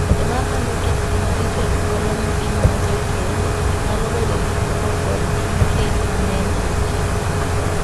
Joma pando kitgi maricho e thuolo ma gimanyo jokeny nyalo bedo gi koko kod chuny lit mang'eny ei kenygi.